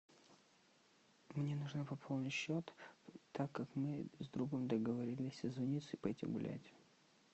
мне нужно пополнить счет так как мы с другом договорились созвониться и пойти гулять